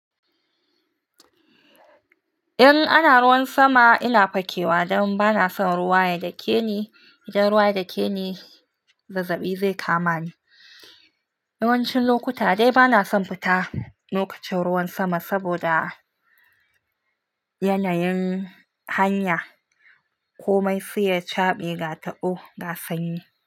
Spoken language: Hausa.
In ana ruwan sama ina fakewa dan bana son ruwa ya dakeni, idan ruwa ya dakeni zazzabi zai kama ni. Yawancin lokuta dai bana son fita lokacin ruwan sama saboda yanayin hanya, komai sai ya caɓe gatabo gasanyi.